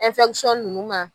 nunnu ma